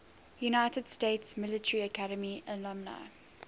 united states military academy alumni